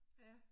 Ja